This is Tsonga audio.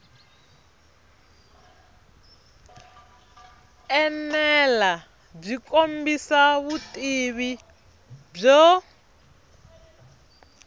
enela byi kombisa vutivi byo